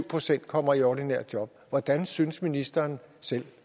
procent kom i ordinært job hvordan synes ministeren selv